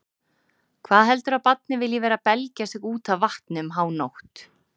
Hvað heldurðu að barnið vilji vera að belgja sig út af vatni um hánótt